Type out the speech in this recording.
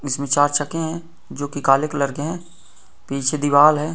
इसमें चार चकें हैं जोकि काले कलर के हैं| पीछे दिवाल है।